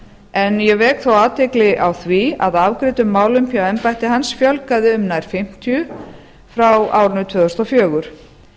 en ég vek þó athygli á því að afgreiddum málum hjá embætti hans fjölgaði um nær fimmtíu frá árinu tvö þúsund og fjögur